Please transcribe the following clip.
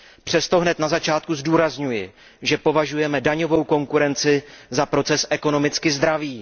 Přesto hned na začátku zdůrazňuji, že považujeme daňovou konkurenci za proces ekonomicky zdravý.